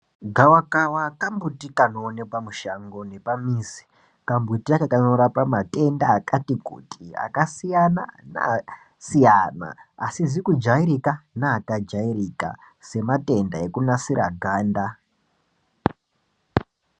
Gava kava ka mbuti kano onekwa mushango nepa mizi ka mbuti aka kanorapa matenda akati kuti aka siyana ne asiyana asizi ku jairika ne aka jairika se matenda eku nasiri ganda.